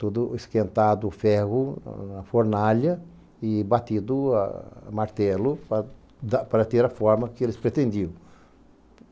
Tudo esquentado, ferro, na fornalha e batido a martelo para da, para ter a forma que eles pretendiam.